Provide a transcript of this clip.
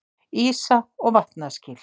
Ísa- og vatnaskil.